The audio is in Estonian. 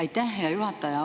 Aitäh, hea juhataja!